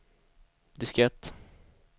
diskett